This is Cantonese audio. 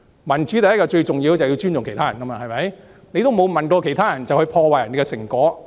民主最重要的是要尊重其他人，現在沒有問過其他人便破壞別人的成果。